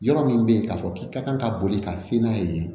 Yɔrɔ min bɛ yen k'a fɔ k'i ka kan ka boli ka se n'a ye